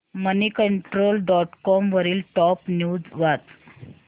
Moneycontrol dot com वरील top news वाच